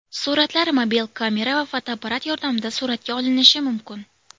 Suratlar mobil kamera va fotoapparat yordamida suratga olinishi mumkin.